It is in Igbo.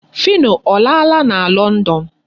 Phyno ọ laala na London?